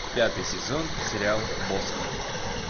пятый сезон сериал босх